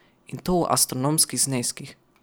In to v astronomskih zneskih.